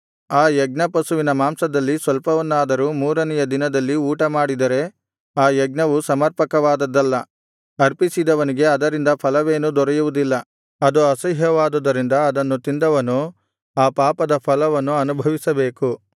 ಆ ಯಜ್ಞಪಶುವಿನ ಮಾಂಸದಲ್ಲಿ ಸ್ವಲ್ಪವನ್ನಾದರೂ ಮೂರನೆಯ ದಿನದಲ್ಲಿ ಊಟಮಾಡಿದರೆ ಆ ಯಜ್ಞವು ಸಮರ್ಪಕವಾದದ್ದಲ್ಲ ಅರ್ಪಿಸಿದವನಿಗೆ ಅದರಿಂದ ಫಲವೇನೂ ದೊರೆಯುವುದಿಲ್ಲ ಅದು ಅಸಹ್ಯವಾದುದರಿಂದ ಅದನ್ನು ತಿಂದವನು ಆ ಪಾಪದ ಫಲವನ್ನು ಅನುಭವಿಸಬೇಕು